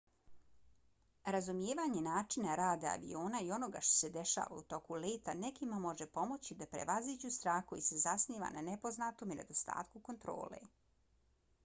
razumijevanje načina rada aviona i onoga što se dešava u toku leta nekima može pomoći da prevaziđu strah koji se zasniva na nepoznatom i nedostatku kontrole